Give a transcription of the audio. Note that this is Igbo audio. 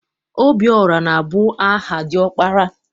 Obiọra na- abụ aha diọkpara.